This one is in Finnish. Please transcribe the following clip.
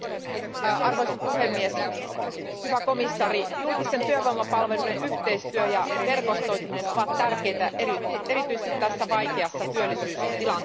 Arvoisa puhemies, hyvä komission jäsen, julkisten työvoimapalveluiden yhteistyö ja verkostoituminen ovat tärkeitä erityisesti tässä vaikeassa työllisyystilanteessa.